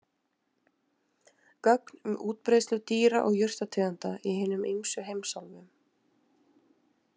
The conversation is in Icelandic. Gögn um útbreiðslu dýra- og jurtategunda í hinum ýmsu heimsálfum.